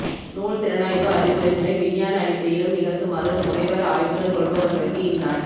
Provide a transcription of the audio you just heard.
நூல் திறனாய்வுஇ ஆய்வுரைகளை விஞ்ஞான அடிப்படையிலும் நிகழ்த்துமாறு முனைவர் ஆய்வுகள் கொள்பவர்களுக்கு இந்நாட்டு